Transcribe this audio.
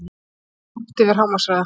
Ók langt yfir hámarkshraða